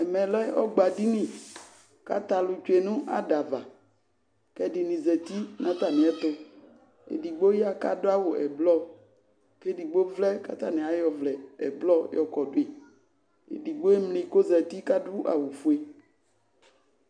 Ɛmɛ lɛ ɔgba dini katɛ alu tsue no adava kɛ ɛde ne zati na atame ɛtoEdigbo ya kado awu ɛblɔ ke edigbo vlɛ ka atane ayɔ ɔvlɛ ɛblɔ yɔ kɔdo ye Edigbo emli ko zati kado awufue